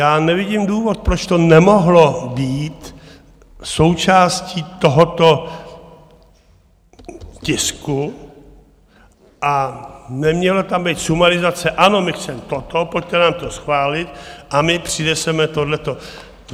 Já nevidím důvod, proč to nemohlo být součástí tohoto tisku a neměla tam být sumarizace - ano, my chceme toto, pojďte nám to schválit, a my přineseme toto.